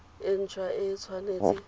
e nt hwa e tshwanetse